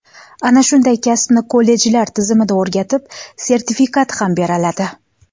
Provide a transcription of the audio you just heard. Ana shunday kasbni kollejlar tizimida o‘rgatib, sertifikat ham beriladi.